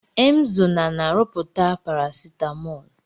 Emzo na-na-arụpụta parasetamol